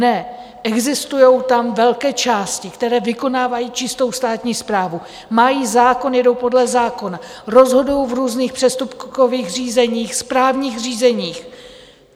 Ne, existují tam velké části, které vykonávají čistou státní správu, mají zákon, jedou podle zákona, rozhodují v různých přestupkových řízeních, správních řízeních.